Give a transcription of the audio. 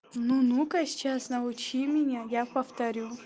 ну ну-ка сейчас научи меня я повторю